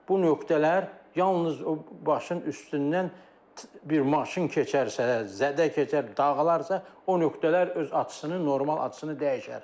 Bu nöqtələr yalnız o başın üstündən bir maşın keçərsə, zədə keçər, dağılarsa, o nöqtələr öz açısını, normal açısını dəyişər.